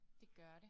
Det gør det